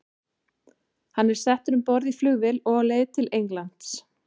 Hann er settur um borð í flugvél á leið til Englands.